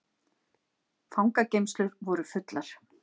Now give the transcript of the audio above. Fangageymslur voru fullar